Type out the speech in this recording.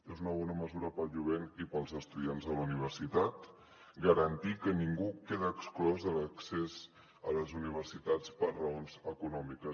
és una bona mesura per al jovent i per als estudiants de la universitat garantir que ningú quedi exclòs de l’accés a les universitats per raons econòmiques